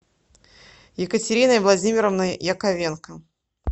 екатериной владимировной яковенко